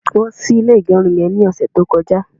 won sì ilé igerun yen ni ọsẹ ti o koja